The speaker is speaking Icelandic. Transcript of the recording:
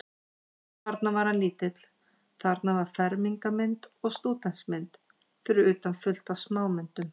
Þarna var hann lítill, þarna var fermingarmynd og stúdentsmynd, fyrir utan fullt af smámyndum.